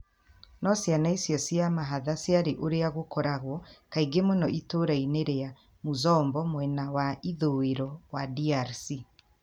No ciana icio cia mahatha ciarĩ ũrĩa gũkoragwo kaingĩ mũno itũũra-inĩ rĩa, Muzombo mwena wa ithũĩro wa DRC.